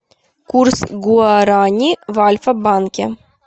курс гуарани в альфа банке